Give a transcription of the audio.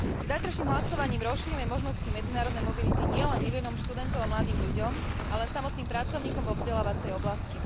Zajtrajším hlasovaním rozšírime možnosti medzinárodnej mobility nielen miliónom študentov a mladým ľuďom, ale aj samotným pracovníkom vo vzdelávacej oblasti.